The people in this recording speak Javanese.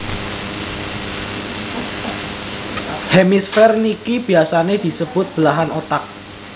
Hemisfer niki biasane disebut belahan otak